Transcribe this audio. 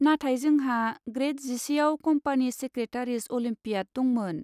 नाथाय जोंहा ग्रेद जिसेआव कम्पानि सेक्रेटारिस अलिम्पियाड दंमोन।